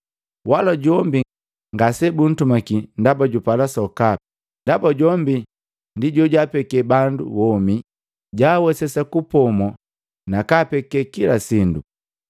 Wala jombi ngase buntumaki ndaba jupala sokapi, ndaba jombi ndi jojaapeke bandu womi, jaawesesa kupomo na kaapeke kila sindu.